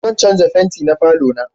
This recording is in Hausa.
Zan canja fenti na falo na